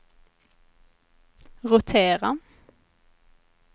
rotera